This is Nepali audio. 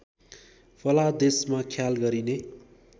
फलादेशमा ख्याल गरिने